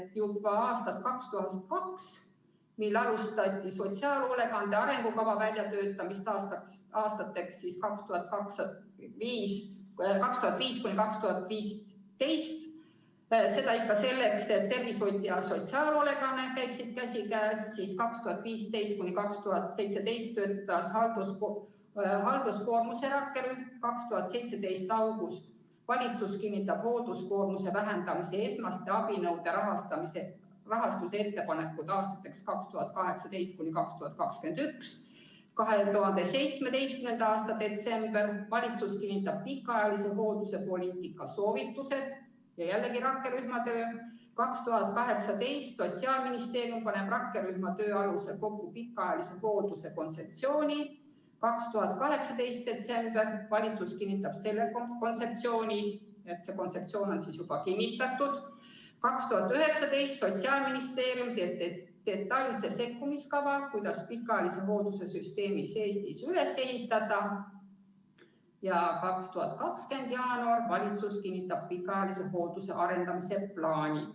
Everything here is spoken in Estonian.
Juba aastast 2002 alustati sotsiaalhoolekande arengukava väljatöötamist aastateks 2005–2015, seda ikka selleks, et tervishoid ja sotsiaalhoolekanne käiksid käsikäes; 2015–2017 töötas halduskoormuse rakkerühm; 2017 august: valitsus kinnitab hoolduskoormuse vähendamise esmaste abinõude rahastuse ettepanekud aastateks 2018–2021; 2017. aasta detsember: valitsus kinnitab pikaajalise hoolduse poliitika soovitused ja jällegi rakkerühma töö; 2018. aastal paneb Sotsiaalministeerium rakkerühma töö alusel kokku pikaajalise hoolduse kontseptsiooni; 2018 detsember: valitsus kinnitab selle kontseptsiooni, st see kontseptsioon on siis juba kinnitatud; 2019: Sotsiaalministeerium teeb detailse sekkumiskava, kuidas pikaajalise hoolduse süsteemi seest üles ehitada; ning 2020 jaanuar: valitsus kinnitab pikaajalise hoolduse arendamise plaani.